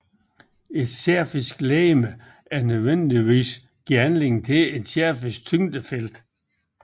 Et sfærisk legeme må nødvendigvis give anledning til et sfærisk tyngdefelt